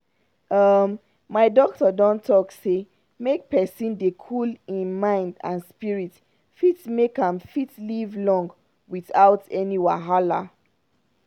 um my doctor don doctor don talk say make pesin dey cool hin mind and spirit fit make am fit live long without any wahala.